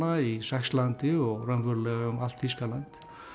í Saxlandi og raunverulega um allt Þýskaland